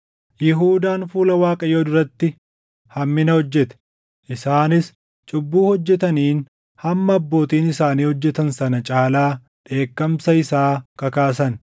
Yihuudaan fuula Waaqayyoo duratti hammina hojjete. Isaanis cubbuu hojjetaniin hamma abbootiin isaanii hojjetan sana caalaa dheekkamsa isaa kakaasan.